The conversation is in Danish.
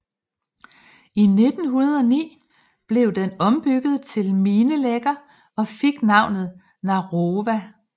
I 1909 blev den ombygget til minelægger og fik navnet Narova